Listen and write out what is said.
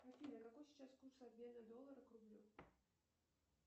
афина какой сейчас курс обмена доллара к рублю